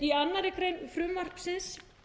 í annarri grein frumvarpsins